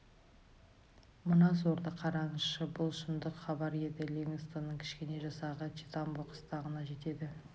мына сорды қараңызшы бұл шындық хабар еді ливингстонның кішкене жасағы читамбо қыстағына жетеді